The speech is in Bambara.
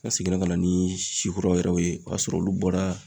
An seginna ka na ni si kuraw yɛrɛ ye o y'a sɔrɔ olu bɔra